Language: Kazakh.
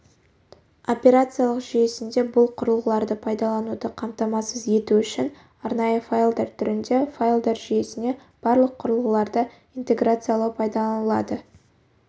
операциялық жүйесінде бұл құрылғыларды пайдалануды қамтамасыз ету үшін арнайы файлдар түрінде файлдар жүйесіне барлық құрылғыларды интеграциялау пайдаланылады